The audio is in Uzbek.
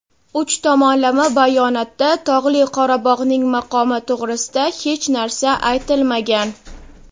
uch tomonlama bayonotda Tog‘li Qorabog‘ning maqomi to‘g‘risida hech narsa aytilmagan.